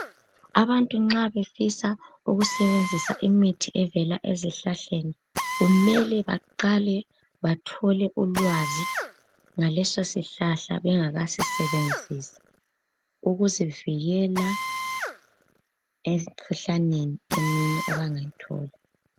abantu nxa befisa ukusebenzisa imithi evela ezihlahleni kumele baqale bathole ulwazi ngaleso sihlahla bengakasisebenzisi ukuzivikela emikhuhlaneni eminye abangayithola